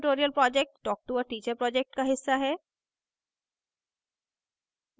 spoken tutorial project talktoa teacher project का हिस्सा है